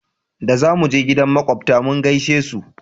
za muje gidan makwabta mu gaishe su